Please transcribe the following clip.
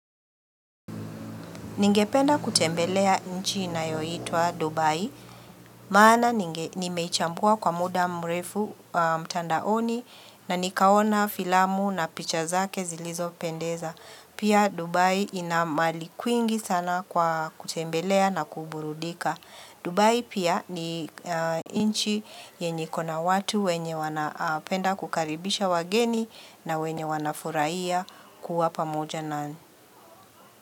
Ningependa kutembelea nchi inayoitwa Dubai, maana nimeichambua kwa muda mrefu mtandaoni na nikaona filamu na picha zake zilizo pendeza. Pia Dubai inamali kwingi sana kwa kutembelea na kuburudika. Dubai pia ni nchi yenye iko na watu wenye wanapenda kukaribisha wageni na wenye wanafuraiya kuwa pamoja nanyi.